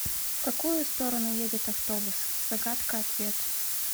в какую сторону едет автобус загадка ответ